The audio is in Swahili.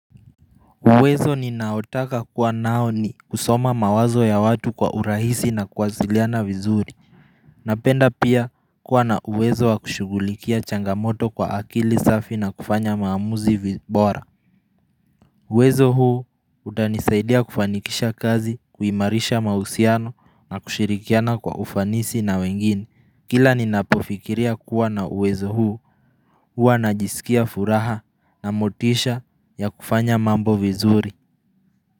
Uwezo ninaotaka kuwa nao ni kusoma mawazo ya watu kwa urahisi na kuwasiliana vizuri Napenda pia kuwa na uwezo wa kushughulikia changamoto kwa akili safi na kufanya maamuzi vibora uwezo huu utanisaidia kufanikisha kazi kuimarisha mahusiano na kushirikiana kwa ufanisi na wengine Kila ninapofikiria kuwa na uwezo huu huwa najiskia furaha na motisha ya kufanya mambo vizuri.